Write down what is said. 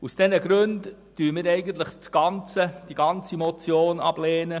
Aus diesen Gründen lehnen wir die ganze Motion ab.